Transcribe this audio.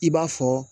I b'a fɔ